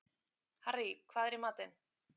Harrý, hvað er í matinn?